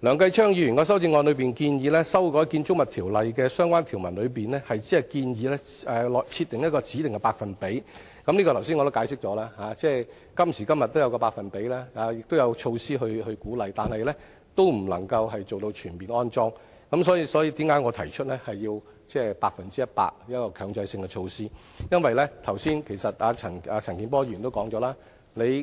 梁繼昌議員的修正案中建議修改《建築物條例》的相關條文中，只建議設定一個指定的百分比的車位，這方面我剛才已解釋，今時今日也設有一個百分比，亦有鼓勵的措施，但仍未能達到全面安裝充電設施，所以，為甚麼我提出要有百分之一百的強制性措施，因為剛才陳健波議員也說了，